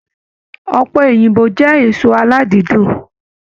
Ọpẹ Òyìnbó jẹ èso aladidun.